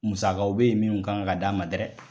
Musakaw bɛ ye minnu kan ka d'a ma dɛrɛ.